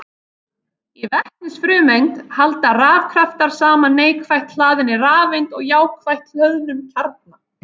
Í vetnisfrumeind halda rafkraftar saman neikvætt hlaðinni rafeind og jákvætt hlöðnum kjarna.